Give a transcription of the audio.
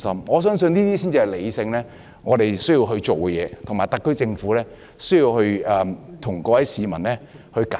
我相信這樣才是我們理性地需要做的事，特區政府需要向各位市民解釋。